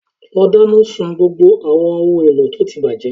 Lọ dáná sun gbogbo àwọn ohun èlò tí ó ti bàjẹ́